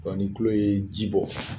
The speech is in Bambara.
Dɔn ni kulo ye ji bɔ